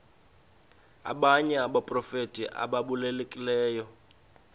abanye abaprofeti ababalulekileyo